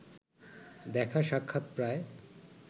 দেখা-সাক্ষাৎ প্রায়